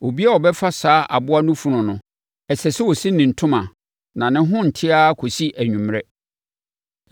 Obiara a ɔbɛfa saa aboa no funu no, ɛsɛ sɛ ɔsi ne ntoma na ne ho nnte ara kɔsi anwummerɛ.